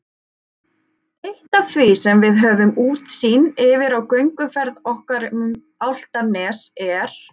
Eitt af því sem við höfum útsýn yfir á gönguferð okkar um Álftanes er